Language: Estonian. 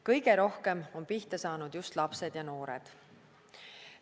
Kõige rohkem on pihta saanud just lapsed ja noored.